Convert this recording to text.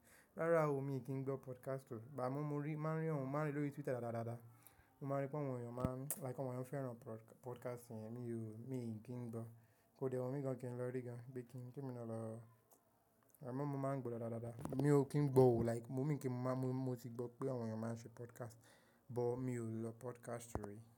Rárá o, mi ò kí ń gbọ́ podcast o, bà mú mo rí, máa ń rí ọ̀hún, máa ń rí lórí Twitter dáadáa daadaa. Mo mọ wípé àwọn èèyàn máa ń, like àwọn ènìyàn fẹ́ràn podcast yẹn, mi ò, mi ò kí ń gbọ́. Kóde wumi gan kín lọ rí gan, bí i kí n kí emi na lọ. Àmọ́ mo máa ń gbọ́ dáadáa daadaa. Mi ò kí ń gbọ́ o like, mo mọ̀ kí n mo máa mú, mo ti gbọ́ pé àwọn ènìyàn máa ń ṣe podcast, but mi ò lọ podcast rí.